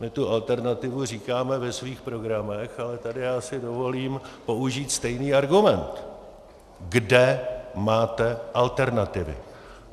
My tu alternativu říkáme ve svých programech, ale tady já si dovolím použít stejný argument: Kde máte alternativu?